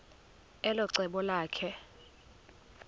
elo cebo lakhe